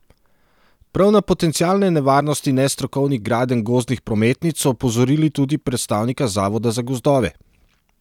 Prav na potencialne nevarnosti nestrokovnih gradenj gozdnih prometnic so opozorili tudi predstavnika Zavoda za gozdove.